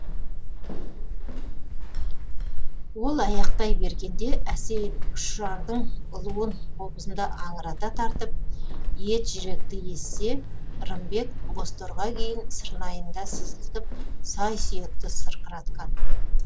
ол аяқтай бергенде әсейін ұшардың ұлуын қобызында аңырата тартып ет жүректі езсе рымбек бозторғай күйін сырнайында сызылтып сай сүйекті сырқыратқан